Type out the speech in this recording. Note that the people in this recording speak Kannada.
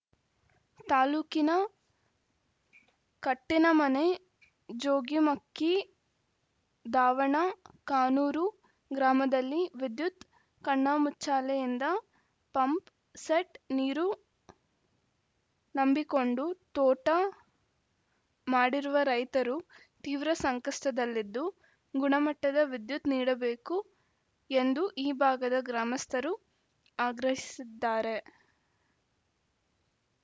ತಾಲೂಕಿನ ಕಟ್ಟಿನಮನೆ ಜೋಗಿಮಕ್ಕಿ ದಾವಣ ಕಾನೂರು ಗ್ರಾಮದಲ್ಲಿ ವಿದ್ಯುತ್‌ ಕಣ್ಣುಮುಚ್ಚಾಲೆಯಿಂದ ಪಂಪ್‌ ಸೆಟ್‌ ನೀರು ನಂಬಿಕೊಂಡು ತೋಟ ಮಾಡಿರುವ ರೈತರು ತೀವ್ರ ಸಂಕಷ್ಟದಲ್ಲಿದ್ದು ಗುಣಮಟ್ಟದ ವಿದ್ಯುತ್‌ ನೀಡಬೇಕು ಎಂದು ಈ ಭಾಗದ ಗ್ರಾಮಸ್ಥರು ಆಗ್ರಹಿಸಿದ್ದಾರೆ